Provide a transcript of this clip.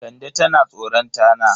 Kande tana tsoron tana.